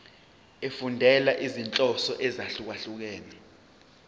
efundela izinhloso ezahlukehlukene